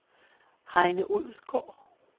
Heine Odgaard